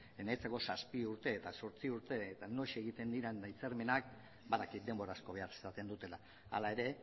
niretzako zazpi urte eta zortzi urte eta noiz egiten diren hitzarmenak badakit denbora asko behar izaten dutela hala ere